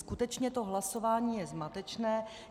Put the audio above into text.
Skutečně to hlasování je zmatečné.